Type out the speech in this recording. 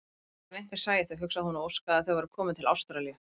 Guð, ef einhver sæi þau, hugsaði hún og óskaði að þau væru komin til Ástralíu.